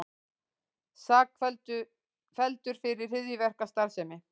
Sakfelldur fyrir hryðjuverkastarfsemi